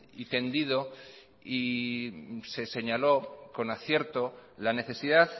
y tendido y se señaló con acierto la necesidad